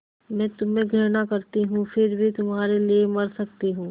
मैं तुम्हें घृणा करती हूँ फिर भी तुम्हारे लिए मर सकती हूँ